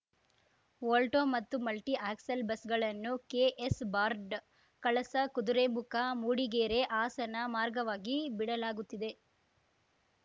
Volvo ಮತ್ತು multi axle ಬಸ್‌ಗಳನ್ನು ಕೆಎಸ್‌ ಬಾರ್ಡ್ ಕಳಸ ಕುದುರೆಮುಖ ಮೂಡಿಗೆರೆ ಹಾಸನ ಮಾರ್ಗವಾಗಿ ಬಿಡಲಾಗುತ್ತಿದೆ